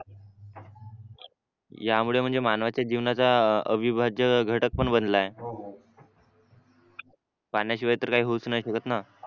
यामुळे म्हणजे मानवाच्या जीवनाचा अविभाज्य घटक पण बनला आहे पाण्याशिवाय तर काही होऊच नाही शकत ना